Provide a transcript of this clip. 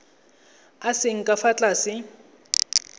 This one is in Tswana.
a seng ka fa tlase